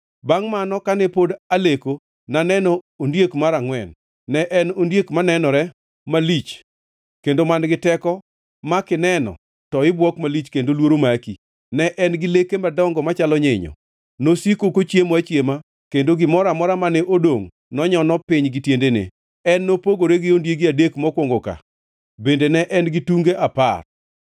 “Bangʼ mano, kane pod aleko ne aneno ondiek mar angʼwen. Ne en ondiek manenore malich kendo man-gi teko ma kineno to ibuok malich kendo luoro maki. Ne en gi leke madongo machalo nyinyo; nosiko kochiemo achiema kendo gimoro amora mane odongʼ nonyono piny gi tiendene. En nopogore gi ondiegi adek mokwongo ka bende ne en gi tunge apar.